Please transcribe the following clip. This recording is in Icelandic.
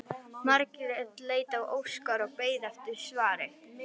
Margrét leit á Óskar og beið eftir svari.